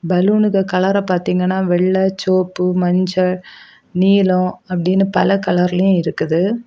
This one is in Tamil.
பலூனுக்கு கலர பார்த்தீங்கன்னா வெள்ளை சிவப்பு மஞ்சள் நீளம் அப்படின்னு பல கலர்லயும் இருக்குது.